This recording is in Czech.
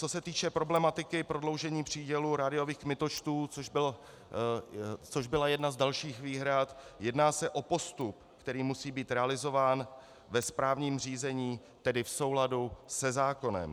Co se týče problematiky prodloužení přídělu rádiových kmitočtů, což byla jedna z dalších výhrad, jedná se o postup, který musí být realizován ve správním řízení, tedy v souladu se zákonem.